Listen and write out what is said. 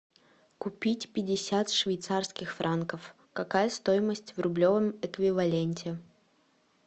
купить пятьдесят швейцарских франков какая стоимость в рублевом эквиваленте